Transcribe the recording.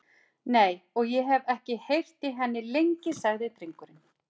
Nei, og ég hef ekki heyrt í henni lengi, sagði drengurinn.